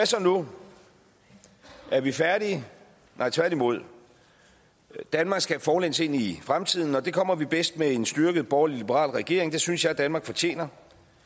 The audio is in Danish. så nu er vi færdige nej tværtimod danmark skal forlæns ind i fremtiden og det kommer vi bedst med en styrket borgerlig liberal regering det synes jeg danmark fortjener